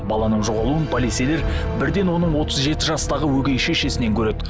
баланың жоғалуын полицейлер бірден оның отыз жеті жастағы өгей шешесінен көреді